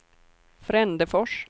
Frändefors